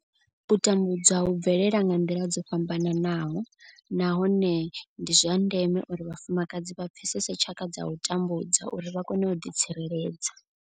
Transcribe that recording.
U tambudzwa hu bvelela nga nḓila dzo fhambanaho nahone ndi zwa ndeme uri vhafumakadzi vha pfesese tshaka dza u tambudzwa uri vha kone u ḓi tsireledza.